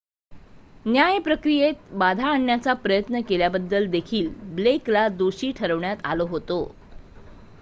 न्याय प्रक्रियेत बाधा आणण्याचा प्रयत्न केल्याबद्दल देखील ब्लेकला दोषी ठरविण्यात आलं होतं